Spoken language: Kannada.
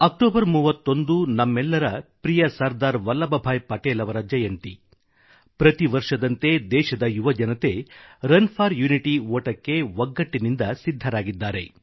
ಅಕ್ಟೋಬರ್ 31 ನಮ್ಮೆಲ್ಲರ ಪ್ರಿಯ ಸರ್ದಾರ್ ವಲ್ಲಭ್ಭಾಯಿ ಪಟೇಲ್ ಅವರ ಜಯಂತಿ ಮತ್ತು ಪ್ರತಿ ವರ್ಷದಂತೆ ದೇಶದ ಯುವಜನತೆ ರನ್ ಫಾರ್ ಯುನಿಟಿಗಾಗಿ ಓಟಕ್ಕೆ ಒಗ್ಗಟ್ಟಿನಿಂದ ಸಿದ್ಧರಾಗಿದ್ದಾರೆ